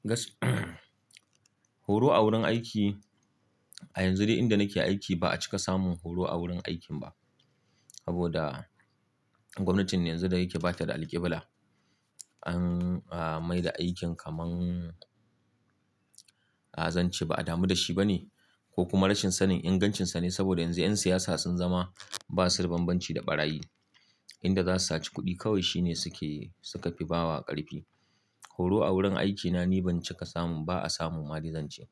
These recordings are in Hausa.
Gask horo a wurin aiki, a yanzu dai inda nake aiki ba a cika samun horo a wurin aikin ba. Saboda gwamnatin yanzu da yake ba ta da alkibla. Saboda gwamnatin yanzu da yake ba ta da alƙibla. Ko kuma rashin sanin ingancinsa ne saboda yanzu 'yan siyasa sun zama ba su da banbanci da ɓarayi. Inda za su saci kuɗi kawai shi ne suke, suka fi ba wa ƙarfi. Horo a wurin aikina ni ban cika samun, ba a samu ma, ni zan ce.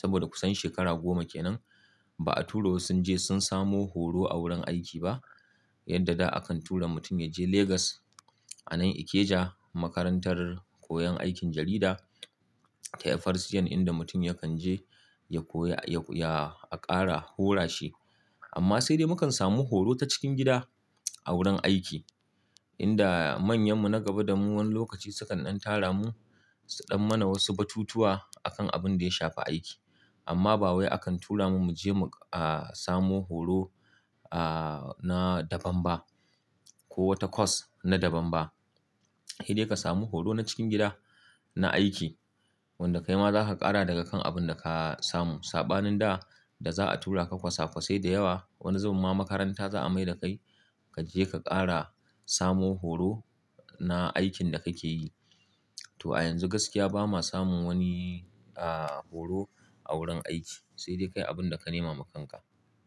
Saboda kusan shekara goma kenan ba a tura wassu sun je sun samo horo a wurin aiki ba. Yadda da akan tura mutum ya je Legas a nan Ikeja makarantar koyon aikin jarida ta FRCN inda mutum yakan je ya koya, ya, ya a ƙara hora shi. Amma sai dai mu kan samu horo ta cikin gida a wurin aiki. Inda manyanmu na gaba da mu wani lokaci sukan ɗan tara mu su ɗan mana wasu batutuwa a kan abin da ya shafi aiki. Amma ba wai akan tura mu mu je mu, ah, samo horo, ah, na daban ba ko wata course na daban ba. Sai dai ka samu horo na cikin gida na aiki wanda kai ma za ka ƙara daga kan abin da ka samu. Saɓanin da, da za'a tura ka kwasa-kwasai da yawa wani zuwan ma makaranta za'a mai da kai ka je ka ƙara samo horo na aikin da kake yi. To a yanzu gaskiya bama samun wani, ah, horo a wurin aiki. Sai dai kai abin da ka nema makanka.